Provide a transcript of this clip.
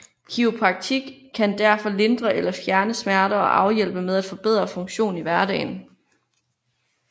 Kiropraktik kan derfor lindre eller fjerne smerter og hjælpe med at forbedre funktion i hverdagen